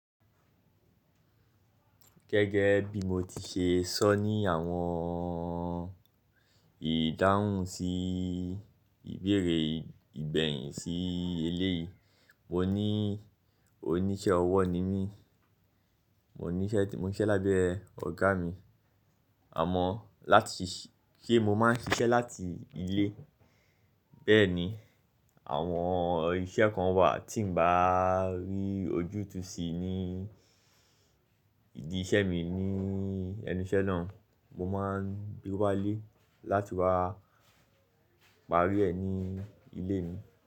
Gẹ́gẹ́ bí mo ti ṣe sọ ní àwọn ìdáhùn sí ìbéèrè ìgbẹ̀yìn sí èléyìí. Mo ní oníṣẹ́ ọwọ́ ni mí, mo ní iṣẹ́ tí mo ń ṣe lábẹ́ ọ̀gá mi, àmọ́ láti ṣí, se mo má ń ṣiṣẹ́ láti ilé. Bẹ́ẹ̀ ni àwọn iṣẹ́ kan wà tí ń bá rí ojútùú sí ní ìdí iṣẹ́ mi ní ẹnu'ṣẹ́ náà, mo máa gbe walé. Parí ẹ ní ilé mi.